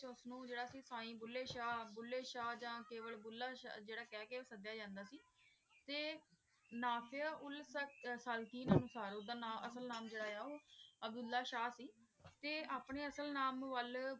ਸੀਏਨ ਭੂਲੇ ਸ਼ਾਹ ਭੂਲੇ ਸ਼ਾਹ ਯਾ ਕੇਵਲ ਜੇਰਾ ਭੁਲਾ ਕਹ ਕੇ ਸਾਡੀਆ ਜਾਂਦਾ ਸੀ ਤੇ ਨਾਫਿਯਾ ਉਲ ਓਦਾ ਨਾਮ ਅਸਲ ਨਾਮ ਜੇਰਾ ਆਯ ਆ ਅਬ੍ਦੁਲ੍ਲਾਹ ਸ਼ਾਹ ਸੀ ਤੇ ਅਪਨੇ ਅਸਲ ਨਾਮ ਵਾਲ